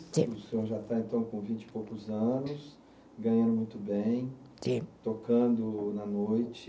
O senhor já está então com vinte e poucos anos, ganhando muito bem. Sim. Tocando na noite.